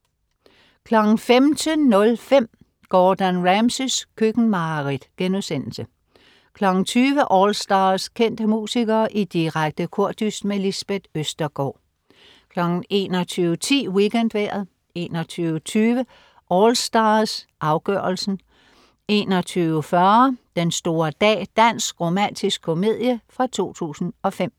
15.05 Gordon Ramsays køkkenmareridt* 20.00 AllStars. Kendte musikere i direkte kordyst. Lisbeth Østergaard 21.10 WeekendVejret 21.20 AllStars, afgørelsen 21.40 Den store dag. Dansk romantisk komedie fra 2005